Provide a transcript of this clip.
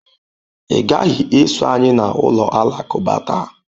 Ị gaghị eso anyị na ụlọ alakụba taa.